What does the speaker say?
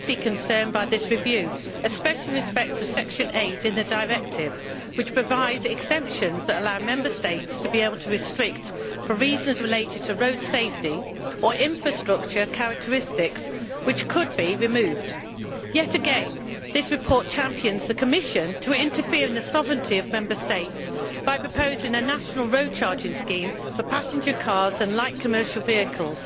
I am deeply concerned by this review, especially with respect to Recital 8 of the Directive which provides for exemptions allowing Member States to impose restrictions for reasons related to road safety or infrastructure characteristics which could be removed. Yet again, this report champions the Commission's right to interfere in the sovereignty of Member States by proposing a national road charging scheme for passenger cars and light commercial vehicles.